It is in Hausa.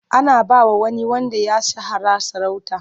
Ana ba wa wani wanda ya shahara sarauta.